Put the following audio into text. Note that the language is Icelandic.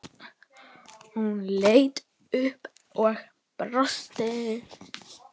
Hún leit upp og brosti.